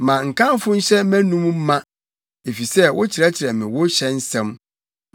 Ma nkamfo nhyɛ mʼanom ma; efisɛ wokyerɛkyerɛ me wo hyɛ nsɛm.